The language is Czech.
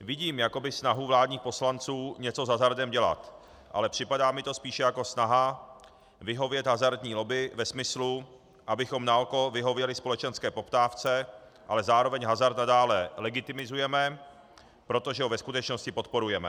Vidím jakoby snahu vládních poslanců něco s hazardem dělat, ale připadá mi to spíše jako snaha vyhovět hazardní lobby ve smyslu, abychom naoko vyhověli společenské poptávce, ale zároveň hazard nadále legitimizujeme, protože ho ve skutečnosti podporujeme.